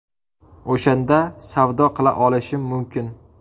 O‘shanda savdo qila olishim mumkin.